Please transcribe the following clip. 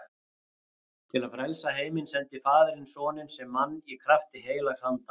Til að frelsa heiminn sendi faðirinn soninn sem mann í krafti heilags anda.